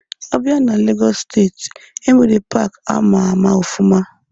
A bịa na Legọs steeti, enwere paaki ama ama ọfụma.